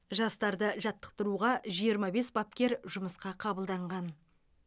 жастарды жаттықтыруға жиырма бес бапкер жұмысқа қабылданған